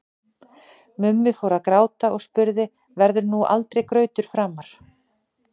Mummi fór að gráta og spurði: Verður nú aldrei grautur framar?